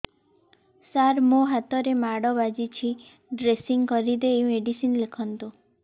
ସାର ମୋ ହାତରେ ମାଡ଼ ବାଜିଛି ଡ୍ରେସିଂ କରିଦେଇ ମେଡିସିନ ଲେଖନ୍ତୁ